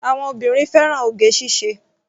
Àwọn obìnrin fẹ́ràn oge ṣíṣe.